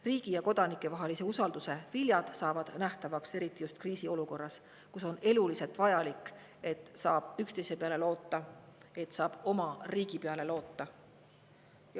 Riigi ja kodanike vahelise usalduse viljad saavad nähtavaks eriti just kriisiolukorras, kus on eluliselt vajalik, et saab üksteise peale loota, et saab oma riigi peale loota.